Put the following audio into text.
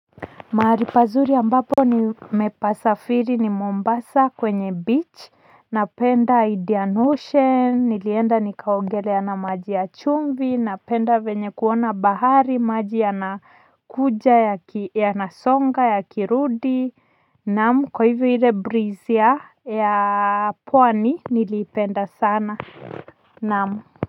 Mahali pazuri ambapo nimepasafiri ni Mombasa kwenye beach, napenda Indian Ocean, nilienda nikaogelea na maji ya chumvi, napenda vyenye kuona bahari, maji yanakuja yanasonga yanarudi. Naam, kwa hivyo ile breeze ya pwani niliipenda sana. Naam.